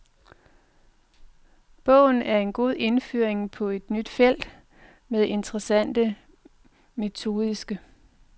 Bogen er en god indføring på et nyt felt, med interessante metodiske.